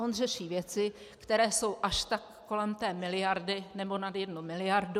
On řeší věci, které jsou až tak kolem té miliardy, nebo nad jednu miliardu.